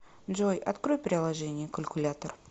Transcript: джой открой приложение калькулятор